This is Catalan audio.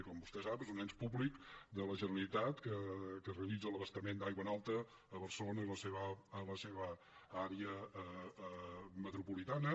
com vostè sap és un ens públic de la generalitat que realitza l’abastament d’aigua en alta a barcelona i la seva àrea metropolitana